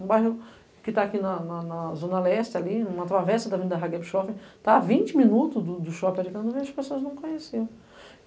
Um bairro que está aqui na, na, na Zona Leste, ali, numa travessa da Avenida Ragepchofe, está a vinte minutos do shopping, e as pessoas não conheciam.